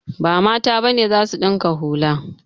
Ba Mata ba ne za su ɗinka hula.